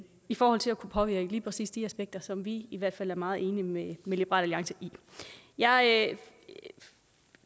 i forhold til at kunne påvirke lige præcis de aspekter som vi i hvert fald er meget enige med liberal alliance i jeg